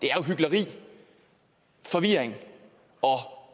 forvirring og